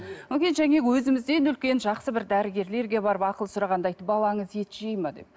өзімізден үлкен жақсы бір дәрігерлерге барып ақыл сұрағанда айтты балаңыз ет жейді ме деп